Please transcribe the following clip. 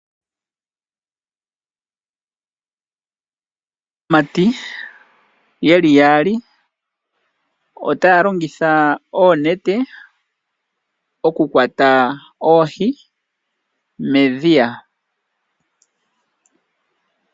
Aamati yeli yaali otaya longitha oonete oku kwata oohi medhiya